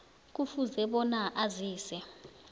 kufuze bona azise